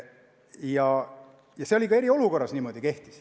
Ja see kehtis ka eriolukorra ajal.